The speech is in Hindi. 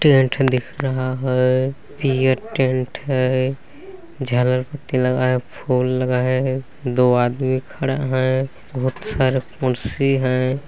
टेंट दिख रहा है पियर टेंट है झालर पत्ती लगा है फुल लगा है दो आदमी खड़ा है बहुत सारे कुर्सी है।